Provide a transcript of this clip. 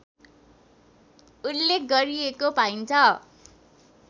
उल्लेख गरिएको पाइन्छ